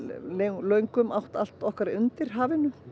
löngum átt allt okkar undir hafinu